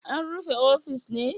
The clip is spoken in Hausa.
An rufe ofis ne?